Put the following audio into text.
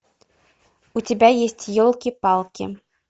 у тебя есть елки палки